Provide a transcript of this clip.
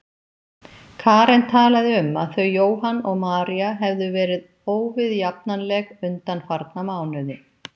Karen talaði um að þau Jóhann og María hefðu bæði verið óviðjafnanleg undanfarna mánuði.